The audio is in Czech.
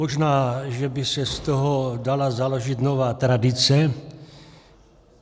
Možná, že by se z toho dala založit nová tradice.